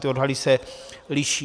Ty odhady se liší.